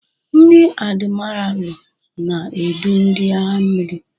Ndi admiralu na-edu ndị agha mmiri.